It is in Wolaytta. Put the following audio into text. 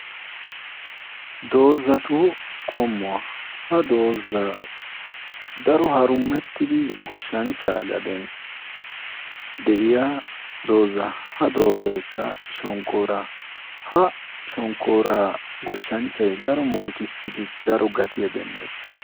dazatu qommuwa. ha dozati daro harummetidi goshanchaa gaden de'iya shonkaara. ha shonkkora goshanchay daro murutissidi daro gattiyaa demees.